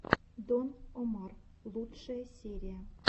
дон омар лучшая серия